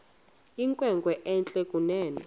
inkwenkwe entle kunene